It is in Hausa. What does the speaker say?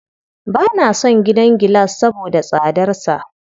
Ba na son gidan gilas saboda tsadarsa.